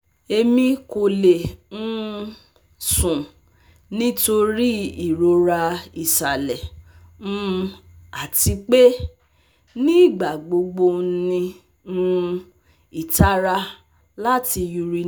Emi ko le um sùn nitori irora isalẹ um ati pe nigbagbogbo n ni um itara lati urinate